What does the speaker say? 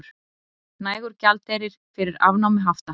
Nægur gjaldeyrir fyrir afnámi hafta